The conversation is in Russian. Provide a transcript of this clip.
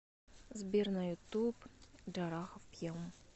сбер на ютуб джарахов пьем